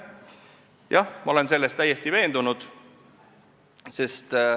Jah, ma olen selles täiesti veendunud.